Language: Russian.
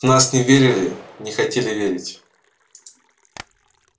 в нас не верили не хотели верить